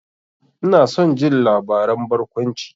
Ina son jin labaran barkwanci.